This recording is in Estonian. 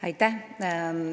Aitäh!